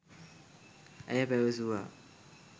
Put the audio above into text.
ඇය පැවසුවා